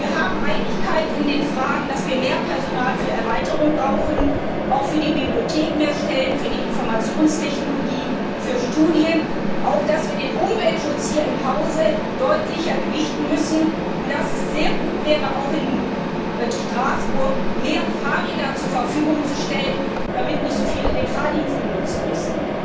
Es herrscht Einigkeit in den Fragen, dass wir mehr Personal für die Erweiterung brauchen, auch mehr Stellen für die Bibliothek, für die Informationstechnologie, für Studien, und dass wir den Umweltschutz hier im Hause deutlicher gewichten müssen und dass es sehr gut wäre, auch in Straßburg mehr Fahrräder zur Verfügung zu stellen, damit nicht so viele den Fahrdienst benutzen müssen.